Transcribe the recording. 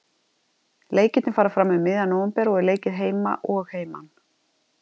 Leikirnir fara fram um miðjan nóvember og er leikið heima og heiman.